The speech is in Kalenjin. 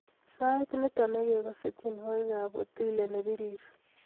Sait nito negigase tyenwogikab otile nepirir